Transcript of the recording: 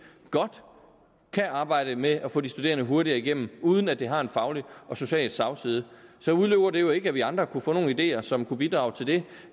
godt kan arbejde med at få de studerende hurtigere igennem uden at det har en faglig og social slagside så udelukker det jo ikke at vi andre kunne få nogle ideer som kunne bidrage til det